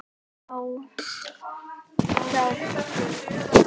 Smá hjálp.